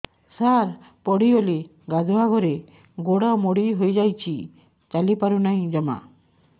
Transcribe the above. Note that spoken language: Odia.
ସାର ପଡ଼ିଗଲି ଗାଧୁଆଘରେ ଗୋଡ ମୋଡି ହେଇଯାଇଛି ଚାଲିପାରୁ ନାହିଁ ଜମା